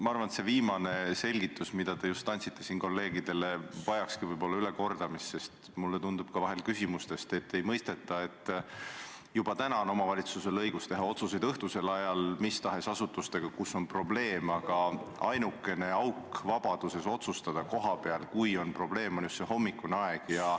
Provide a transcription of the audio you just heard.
Ma arvan, et see viimane selgitus, mida te just siin kolleegidele andsite, vajakski võib-olla ülekordamist, sest mulle tundub ka vahel küsimuste põhjal, et ei mõisteta, et juba nüüd on omavalitsusel õigus teha otsuseid õhtuse aja kohta mis tahes asutuste puhul, kus on probleem, aga ainukene auk selles vabaduses kohapeal otsustada on just see hommikune aeg.